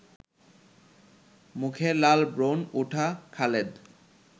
মুখে লাল ব্রণ ওঠা খালেদ